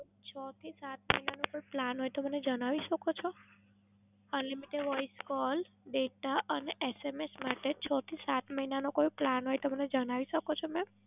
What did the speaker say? છ થી સાત મહીનાનો કોઈ Plan હોય તો મને જણાવી શકો છો? Unlimited voice call data અને SMS માટે છ થી સાત મહીનાનો કોઈ Plan હોય તો મને જણાવી શકો છો મેમ?